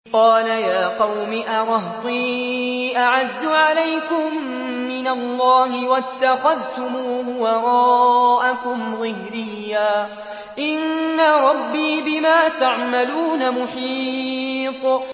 قَالَ يَا قَوْمِ أَرَهْطِي أَعَزُّ عَلَيْكُم مِّنَ اللَّهِ وَاتَّخَذْتُمُوهُ وَرَاءَكُمْ ظِهْرِيًّا ۖ إِنَّ رَبِّي بِمَا تَعْمَلُونَ مُحِيطٌ